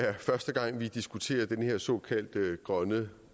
er første gang vi diskuterer den her såkaldt grønne